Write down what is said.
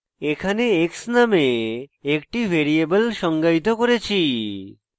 এখানে x নামে একটি ভ্যারিয়েবল সংজ্ঞায়িত করেছি